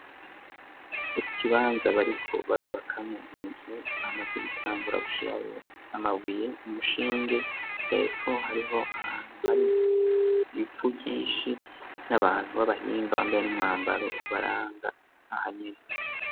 Ikibanza bariko barubakamwo inzu bamaze gutangura gushirayo amabuye umushinge hefo hariho ahantu hari ivu ryishi n'abantu b'abahinga bambaye umwambaro ubaranga ahanini.